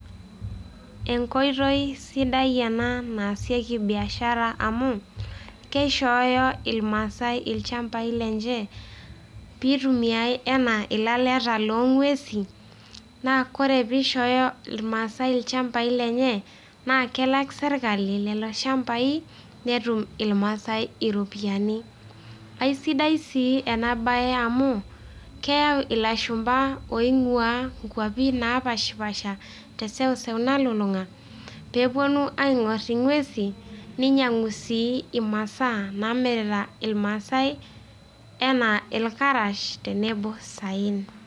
Enkoitoi sidai ena naasieki biashara amu, keishooyo irmaasai ilchambai lenche, pitumiai enaa ilaleta lo ng'uesin. Na kore pishooyo irmaasai ilchambai lenye, na kelak sirkali lelo shambai, netum irmaasai iropiyiani. Kaisidai si ena bae amu, keyau ilashumpa oing'ua inkwapi napashipasha teseuseu nalulung'a, peponu aing'or ing'uesin, ninyang'u si imasaa namirita ilmaasai enaa ilkarash tenebo saen.